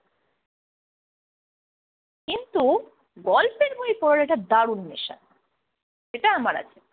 কিন্তু গল্পের বই পড়াটা দারুণ নেশা এটা আমার আছে।